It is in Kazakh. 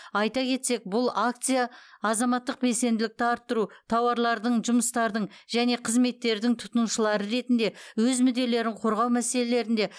айта кетсек бұл акция азаматтық белсенділікті арттыру тауарлардың жұмыстардың және қызметтердің тұтынушылары ретінде өз мүдделерін қорғау мәселелерінде